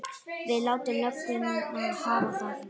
Við látum lögguna hafa það.